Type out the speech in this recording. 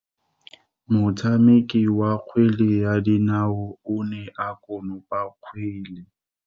Motshameki wa kgwele ya dinaô o ne a konopa kgwele.